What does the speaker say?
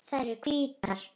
Þær eru hvítar.